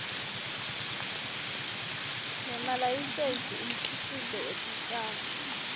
nemalayisensi umkhicito wetitjalo